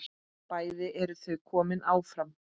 Bæði eru þau komin áfram.